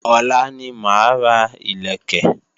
Ọ̀la ní máa ra ìlẹ̀kẹ̀